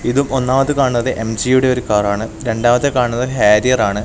ഇത് ഒന്നാമത്തെ കാണുന്നത് എം_ജിയുടെ ഒരു കാറ് ആണ് രണ്ടാമത്തെ കാണുന്നത് ഹാർറിയർ ആണ്.